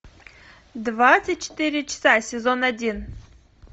двадцать четыре часа сезон один